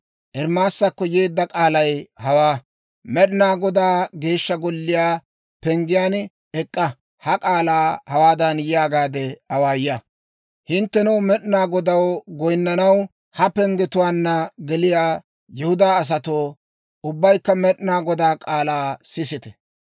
«Med'inaa Godaa Geeshsha Golliyaa penggen ek'k'a. Ha k'aalaa hawaadan yaagaade awaaya; ‹Hinttenoo, Med'inaa Godaw goyinnanaw ha penggetuwaanna geliyaa Yihudaa asatoo, ubbaykka Med'inaa Godaa k'aalaa sisite!